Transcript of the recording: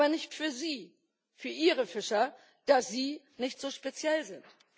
Aber nicht für sie, für ihre Fischer, da sie nicht so speziell sind.